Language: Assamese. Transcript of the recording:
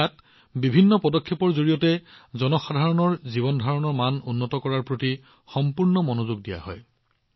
ইয়াত বিভিন্ন পদক্ষেপৰ জৰিয়তে জনসাধাৰণৰ জীৱনৰ মানদণ্ড উন্নত কৰাৰ বাবে সম্পূৰ্ণ মনোযোগ দিয়া হয়